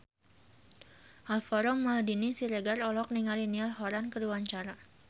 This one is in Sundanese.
Alvaro Maldini Siregar olohok ningali Niall Horran keur diwawancara